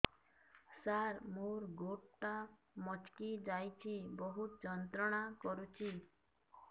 ସାର ମୋର ଗୋଡ ଟା ମଛକି ଯାଇଛି ବହୁତ ଯନ୍ତ୍ରଣା କରୁଛି